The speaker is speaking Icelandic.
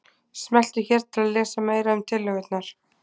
Smelltu hér til að lesa meira um tillögurnar